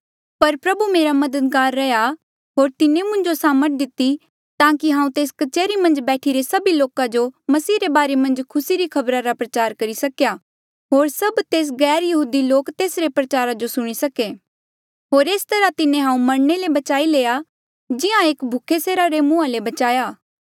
पर प्रभु मेरा मददगार रैहया होर तिन्हें मुंजो सामर्थ दिती ताकि हांऊँ तेस कच्हरी मन्झ बैठीरे सभी लोका जो मसीह रे बारे मन्झ खुसी री खबरा रा प्रचार करी सकेया होर सभ तेस गैरयहूदी लोक तेसरे प्रचारा जो सुणी सके होर एस तरहा तिन्हें हांऊँ मरणे ले बचाई लेया जिहां एक भूखे सेरा रे मुंहा ले बचाया